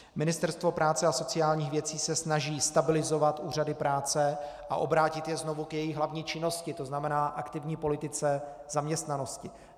Ministerstvo práce a sociálních věcí se snaží stabilizovat úřady práce a obrátit je znovu k jejich hlavní činnosti, to znamená aktivní politice zaměstnanosti.